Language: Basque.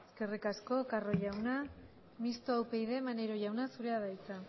eskerrik asko carro jauna mistoa upyd maneiro jauna zurea da hitza